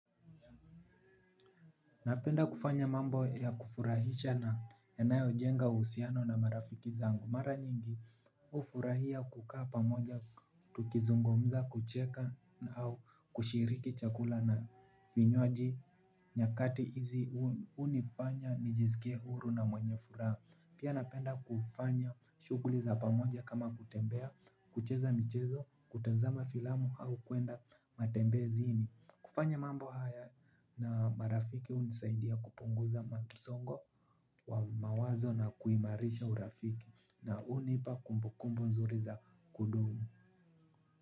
Napenda kufanya mambo ya kufurahisha na yanayojenga uhusiano na marafiki zangu. Mara nyingi hufurahia kukaa pamoja, tukizungumza, kucheka au kushiriki chakula na vinywaji nyakati hizi hunifanya nijisikie huru na mwenye furaha. Pia napenda kufanya shughuli za pamoja kama kutembea, kucheza michezo, kutazama filamu au kuenda matembezini. Kufanya mambo haya na marafiki unisaidia kupunguza musongo wa mawazo na kuimarisha urafiki na unipa kumbukumbu nzuri za kudumu.